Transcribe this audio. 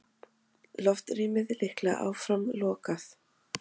Loftrýmið líklega áfram lokað